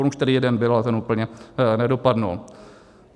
On už tady jeden byl, ale ten úplně nedopadl.